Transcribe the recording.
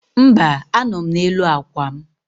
Mba, anọ m n'elu akwa m.